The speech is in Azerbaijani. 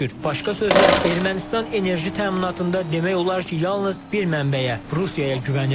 Başqa sözlə Ermənistan enerji təminatında demək olar ki, yalnız bir mənbəyə, Rusiyaya güvənir.